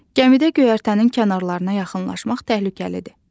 Gəmidə göyərtənin kənarlarına yaxınlaşmaq təhlükəlidir.